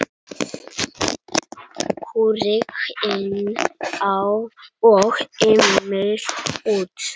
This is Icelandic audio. Rúrik inn og Emil út?